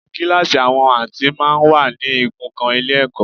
Kíláàsì àwọn Áàtì máa ń wà ní igun kan Ilé-ẹ̀kọ́